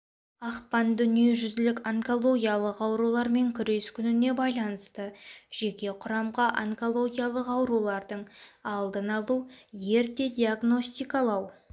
ақпан дүниежүзілік онкологиялық аурулармен күрес күніне байланысты жеке құрамға онкологиялық аурулардың алдын алу ерте диагностикалау